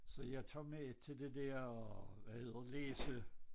Så jeg tager med til det der hvad hedder læse